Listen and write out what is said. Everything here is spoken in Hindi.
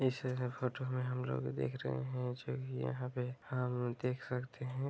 इस फ़ोटो में हम लोग भी देख रहे हैं जो की यहाँ पे हम देख सकते है।